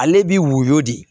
Ale bi woyo de